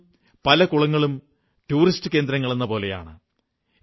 ഇന്നും പല കുളങ്ങളും ടൂറിസ്റ്റ് കേന്ദ്രങ്ങളെന്നപോലെയാണ്